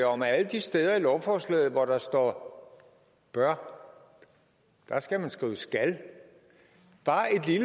om at alle de steder i lovforslaget hvor der står bør skal man skrive skal